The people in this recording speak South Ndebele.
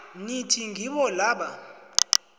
nithi ngibo laba